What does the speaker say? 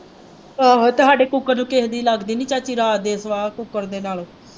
ਆਹੋ ਤੇ ਸਾਡੇ ਕੂਕਰ ਨੂੰ ਕਿਸੇ ਦੀ ਲੱਗਦੀ ਨਹੀਂ ਚਾਚੀ ਰਾਤ ਦੇ ਕੂਕਰ ਦੇ ਨਾਲ।